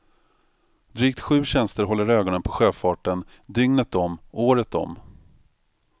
Drygt sju tjänster håller ögonen på sjöfarten dygnet om, året om.